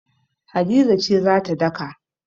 Hadiza ce za ta daka.